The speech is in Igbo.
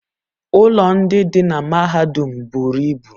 ụlọ ndị dị na mahadum buru ibu